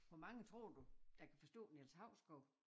Hvor mange tror du der kan forstå Niels Hausgaard?